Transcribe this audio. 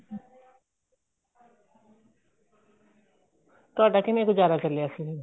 ਤੁਹਾਡਾ ਕਿਵੇਂ ਗੁਜ਼ਾਰਾ ਚੱਲਿਆ ਸੀ